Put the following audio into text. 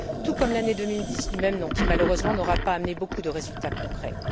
Tout comme l'année 2010 du même nom qui, malheureusement, n'aura pas amené beaucoup de résultats concrets.